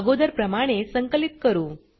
अगोदर प्रमाणे संकलित करू